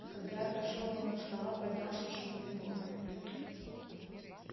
когда отошёл он от стола поднялся шумный говор